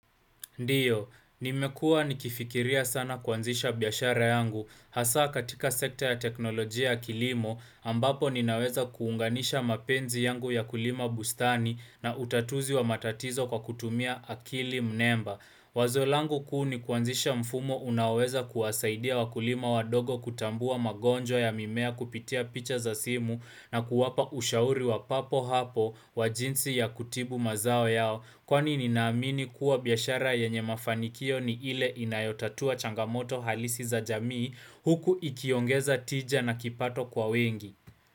Ndiyo, nimekuwa nikifikiria sana kuanzisha biashara yangu hasaa katika sekta ya teknolojia ya kilimo ambapo ninaweza kuunganisha mapenzi yangu ya kulima bustani na utatuzi wa matatizo kwa kutumia akili mnemba. Wazo langu kuu ni kuanzisha mfumo unaweza kuwasaidia wakulima wadogo kutambua magonjwa ya mimea kupitia picha za simu na kuwapa ushauri wa papo hapo wa jinsi ya kutibu mazao yao kwani ninaamini kuwa biashara yenye mafanikio ni ile inayotatua changamoto halisi za jamii huku ikiongeza tija na kipato kwa wengi.